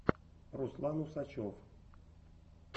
руслан усачев